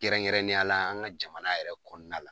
Kɛrɛnkɛrɛannenya la an ka jamana yɛrɛ kɔnɔna la .